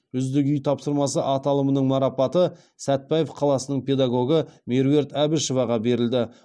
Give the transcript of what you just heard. үздік үй тапсырмасы аталымының марапаты сәтбаев қаласының педагогы меруерт әбішеваға берілді